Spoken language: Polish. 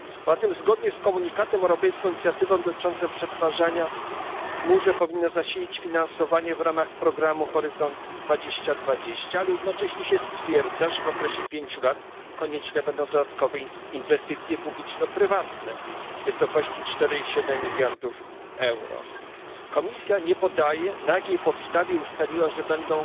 Poza tym zgodnie z komunikatem europejską inicjatywę dotyczącą przetwarzania w chmurze powinno zasilić finansowanie w ramach programu Horyzont 2020, ale jednocześnie stwierdza się, że w okresie pięciu lat konieczne będą dodatkowe inwestycje publiczno prywatne w wysokości 4,7 mld euro. Komisja nie podaje, na jakiej podstawie ustaliła, że będą